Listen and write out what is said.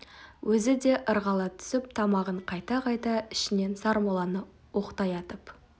өзі де ырғала түсіп тамағын қайта-қайта ішінен сармолланы оқтай атып